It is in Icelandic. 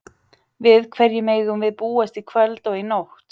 Við hverju megum við búast í kvöld og í nótt?